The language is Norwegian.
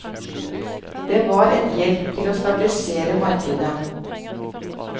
Det var en hjelp til å stabilisere markedet.